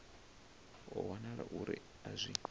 ho wanala uri a zwi